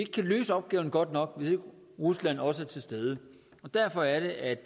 kan løse opgaven godt nok hvis ikke rusland også er til stede og derfor er det at